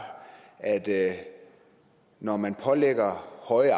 at at når man lægger høje